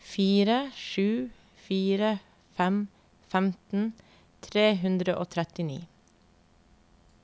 fire sju fire fem femten tre hundre og trettini